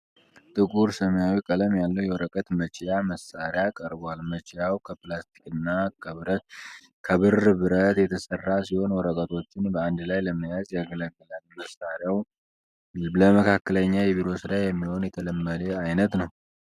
ጥቁር ሰማያዊ ቀለም ያለው የወረቀት መችያ መሳሪያ ቀርቧል። መችያው ከፕላስቲክና ከብር ብረት የተሠራ ሲሆን፣ ወረቀቶችን በአንድ ላይ ለመያዝ ያገለግላል። መሳሪያው ለመካከለኛ የቢሮ ሥራ የሚሆን የተለመደ ዓይነት ነው።